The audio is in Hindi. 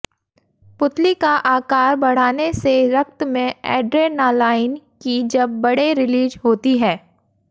पुतली का आकार बढ़ाने से रक्त में एड्रेनालाईन की जब बड़े रिलीज होती है